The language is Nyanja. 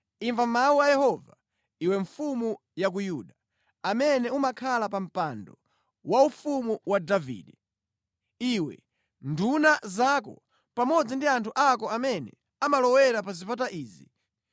‘Imva mawu a Yehova, iwe mfumu ya ku Yuda, amene umakhala pa mpando waufumu wa Davide; iwe, nduna zako pamodzi ndi anthu ako amene amalowera pa zipata izi.